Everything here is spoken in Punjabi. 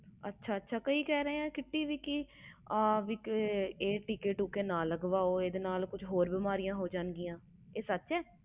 ਅੱਛਾ ਅੱਛਾ ਕਈ ਲੋਕੀ ਕਹਿ ਰਹੇ ਨੇ ਆਹ ਟੀਕੇ ਟੋਕੇ ਨਾ ਲਗਵਾਓ ਇਹਦੇ ਨਾਲ ਹੋਰ ਵੀ ਬਿਮਾਰੀਆਂ ਲਗ ਰਹੀਆਂ ਨੇ ਆਹ ਸੱਚ ਆ